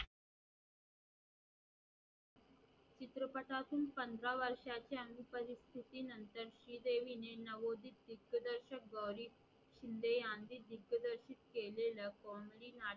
चित्रपटातून पंधरा वर्षाच्या परिस्थिति नंतर श्रीदेविने नऊ वर्ष दीगददर्शक गौरी शिंदे यांनी दिग्दर्शक केलेल्या कोंडलीन